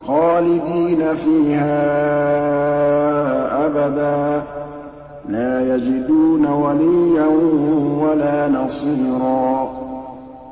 خَالِدِينَ فِيهَا أَبَدًا ۖ لَّا يَجِدُونَ وَلِيًّا وَلَا نَصِيرًا